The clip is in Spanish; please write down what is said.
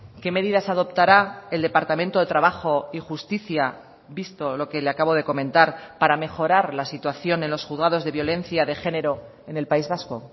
qué medidas adoptará el departamento de trabajo y justicia visto lo que le acabo de comentar para mejorar la situación en los juzgados de violencia de género en el país vasco